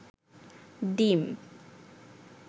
ডিম